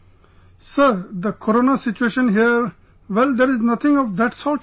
Sir...the Corona situation here...well, there's nothing of that sort here